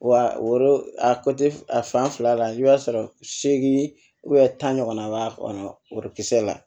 Wa woro a a fan fila la i b'a sɔrɔ seegin tan ɲɔgɔnna b'a kɔnɔ worokisɛ la